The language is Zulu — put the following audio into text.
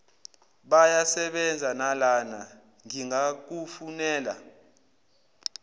bayasebenza nalana ngingakufunela